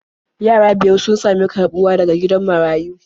Yara biyar sun sami karɓuwa daga gidan marayun.